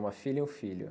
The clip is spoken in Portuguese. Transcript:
Uma filha e um filho.